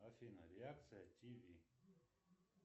афина реакция тв